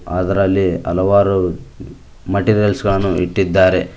ಅದರಲ್ಲಿ ಹಲವಾರು ಮೆಟೀರಿಯಲ್ಸ್ ಗಳನ್ನು ಇಟ್ಟಿದ್ದಾರೆ.